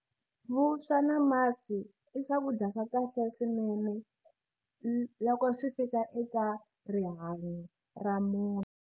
Vuswa na masi i swakudya swa kahle swinene loko swi fika eka rihanyo ra munhu.